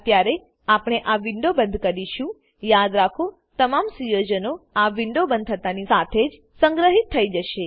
અત્યારે આપણે આ વિન્ડો બંદ કરીશુંયાદ રાખો તમામ સુયોજનો આ વિન્ડો બંદ થતાની સાથે જ સંગ્રહિત થઇ જશે